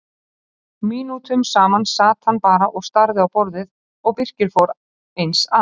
Mínútum saman sat hann bara og starði á borðið og Birkir fór eins að.